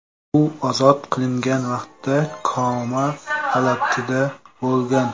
U ozod qilingan vaqtda koma holatida bo‘lgan.